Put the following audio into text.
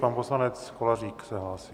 Pan poslanec Kolářík se hlásí.